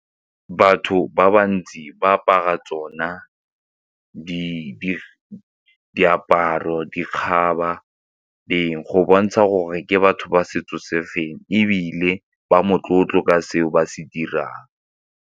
Batho ba bantsi ba apara tsona diaparo, dikgaba, eng go bontsha gore ke batho ba setso se feng ebile ba motlotlo ka seo ba se dirang.